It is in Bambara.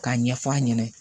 K'a ɲɛf'a ɲɛna